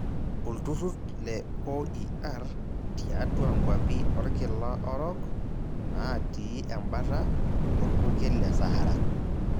Olturur le OER tiatua nkwapi orkila orok naati embata orpukel le Sahara.